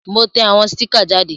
Mo te àwon sticker jáde